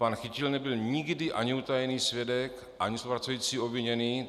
Pan Chytil nebyl nikdy ani utajený svědek ani spolupracující obviněný.